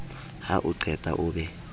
ha o qeta o be